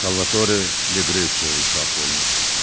Salvatore De Greciayə ithaf olunur.